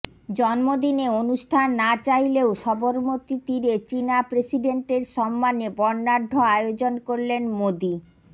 জন্মদিনে অনুষ্ঠান না চাইলেও সবরমতীর তীরে চিনা প্রেসিডেন্টের সম্মানে বর্ণাঢ্য আয়োজন করলেন মোদী